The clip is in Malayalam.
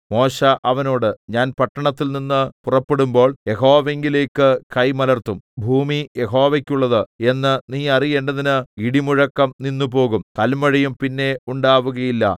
മോശെ അവനോട് ഞാൻ പട്ടണത്തിൽനിന്ന് പുറപ്പെടുമ്പോൾ യഹോവയിങ്കലേക്ക് കൈ മലർത്തും ഭൂമി യഹോവയ്ക്കുള്ളത് എന്ന് നീ അറിയേണ്ടതിന് ഇടിമുഴക്കം നിന്നുപോകും കല്മഴയും പിന്നെ ഉണ്ടാവുകയില്ല